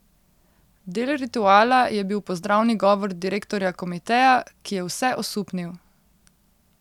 Del rituala je bil pozdravni govor direktorja komiteja, ki je vse osupnil.